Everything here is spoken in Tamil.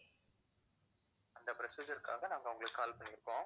அந்த procedure க்காக நாங்க உங்களுக்கு call பண்ணியிருக்கோம்